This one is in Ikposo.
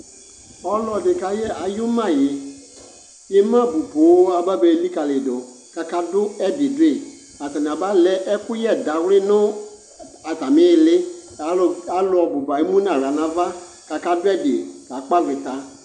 Ɔlɔdɩ kayɛ ay'ʋmayɩ: k'ɩmabʋ poo aba be likǝliyɩdʋ , k'akadʋ ɛdɩ dʋyɩ Atanɩ aba lɛ ɛkʋyɛ dawlɩ nʋ atamɩ ɩɩli ; alʋ alʋ bʋba emu n'aɣla n'ava , k'aka dʋɛdɩ kalpɔ avɩta